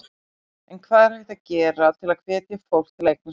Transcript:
En hvað er hægt að gera til að hvetja fólk til að eignast börn?